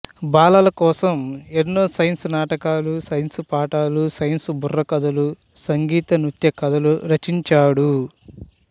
బాలల కోసం ఎన్నో సైన్సు నాటికలు సైన్సుపాటలు సైన్సు బుర్రకథలు సంగీత నృత్యకథలు రచించాడు